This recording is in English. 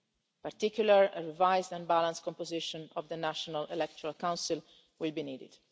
way. In particular a revised and balanced composition of the National Electoral Council will be needed.